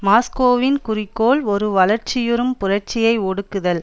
மாஸ்கோவின் குறிக்கோள் ஒரு வளர்ச்சியுறும் புரட்சியை ஒடுக்குதல்